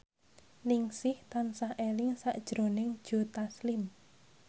Ningsih tansah eling sakjroning Joe Taslim